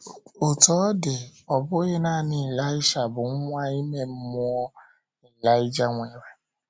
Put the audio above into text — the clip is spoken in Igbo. Otú ọ dị, ọ bụghị nanị Ịlaịsha bụ nwa ime mmụọ Ịlaịja nwere.